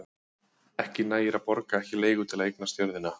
Ekki nægir að borga ekki leigu til að eignast jörðina.